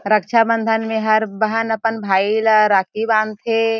रक्षा बंधन में हर बहन अपन भाई ला राखी बांधथे--